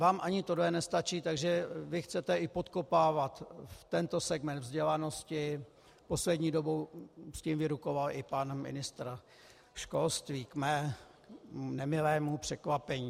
Vám ani tohle nestačí, takže vy chcete i podkopávat tento segment vzdělanosti, poslední dobou s tím vyrukoval i pan ministr školství, k mému nemilému překvapení.